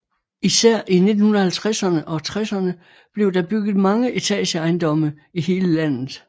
Især i 1950erne og 1960erne blev der bygget mange etageejendomme i hele landet